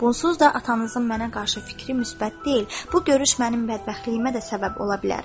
Bunsuz da atanızın mənə qarşı fikri müsbət deyil, bu görüş mənim bədbəxtliyimə də səbəb ola bilər.